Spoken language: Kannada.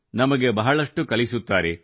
ನಮಗೆ ಬಹಳಷ್ಟು ಕಲಿಸುತ್ತಾರೆ